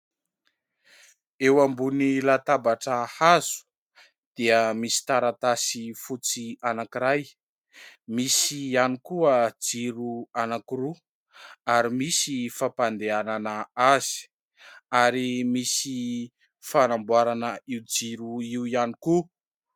Eo ambony latabatra hazo dia misy taratasy fotsy anankiray, misy ihany koa jiro anankiroa ary misy fampandehanana azy ary misy fanamboarana io jiro io ihany koa.